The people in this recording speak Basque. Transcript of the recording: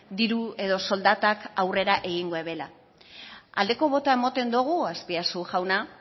diru edo soldatak aurrera egingo ebela aldeko botoa emoten dogu azpiazu jauna